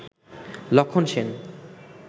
লক্ষন সেন